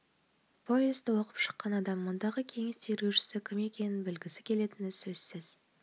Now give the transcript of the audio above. повесті оқып шыққан адам мұндағы кеңес тергеушісі кім екенін білігісі келетіні сөзсіз